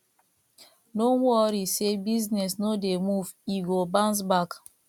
no worry sey business no dey move e go bounce back